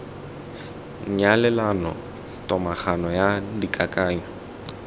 nyalelano le tomagano ya dikakanyo